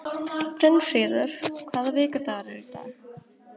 Brynfríður, hvaða vikudagur er í dag?